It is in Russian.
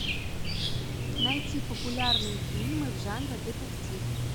найти популярные фильмы в жанре детектив